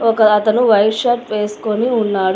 ఒక అతను white shirt వేసుకొని ఉన్నాడు.